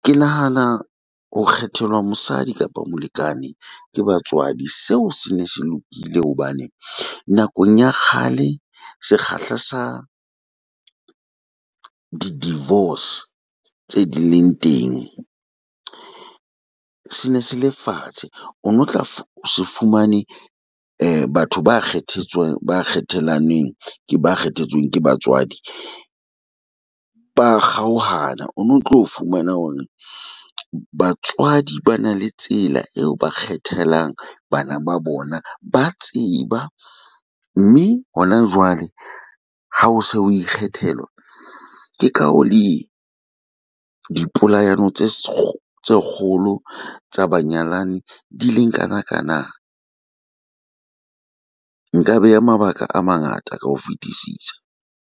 Ke nahana ho kgethelwa mosadi kapa molekane ke batswadi seo se ne se lokile. Hobane nakong ya kgale sekgahla sa di divorce tse di leng teng sene se le fatshe, o no tla se fumane batho ba kgethetsweng ba ikgethelanweng ke ba kgethetsweng ke batswadi ba kgaoha na. Ono tlo fumana hore batswadi ba na le tsela eo ba kgethelang bana ba bona ba tseba. Mme hona jwale ha o se o ikgethelwa ke ka ho le di polayano tse kgolo tsa banyalani di leng kanakana. Nka beha mabaka a mangata ka ho fetisisa.